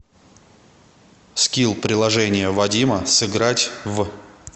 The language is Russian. скилл приложение вадима сыграть в